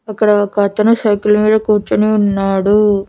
ఇక్కడ ఒకతను సైకిల్ మీద కూర్చొని ఉన్నాడు.